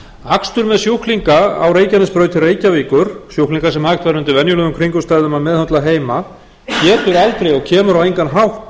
akstur með sjúklinga á reykjanesbraut til reykjavíkur sjúklinga sem hægt væri undir venjulegum kringumstæðum að meðhöndla heima getur aldrei og kemur á engan hátt